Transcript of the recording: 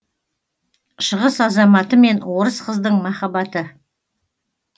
шығыс азаматы мен орыс қыздың махаббаты